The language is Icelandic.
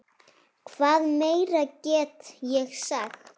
Hvað meira get ég sagt?